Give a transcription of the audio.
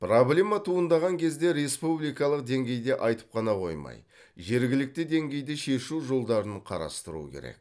проблема туындаған кезде республикалық деңгейде айтып қана қоймай жергілікті деңгейде шешу жолдарын қарастыру керек